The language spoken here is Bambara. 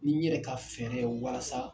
Ni n yɛrɛ ka fɛrɛ ye walasa